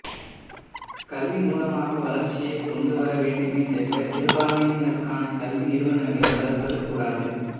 கல்வி மூலமாக வளர்ச்சியை கொண்டுவர வேண்டுமே தவிர சிறுபான்மையினருக்கான கல்வி நிறுவனங்களை வளர்ப்பது கூடாது